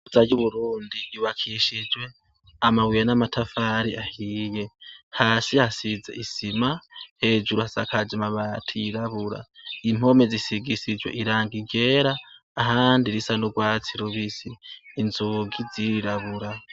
Ihuza ry'uburundi ryubakishijwe amabuye n'amatafari ahiye, hasi hasize isima, hejuru hasakaje amabati yirabura, impome zisigishijwe irangi ryera ahandi risa n'urwatsi rubisi, inzugi zirirabura.